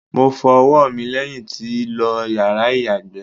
Mo fọ ọwọ́ mi lẹ́yìn tí lo yàrá ìyàgbẹ́.